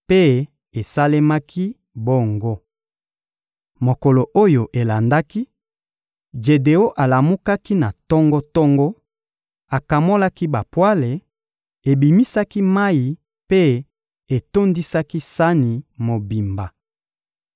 Mpe esalemaki bongo. Mokolo oyo elandaki, Jedeon alamukaki na tongo-tongo, akamolaki bapwale, ebimisaki mayi mpe etondisaki sani mobimba.